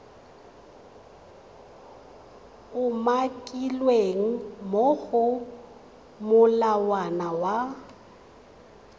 umakilweng mo go molawana wa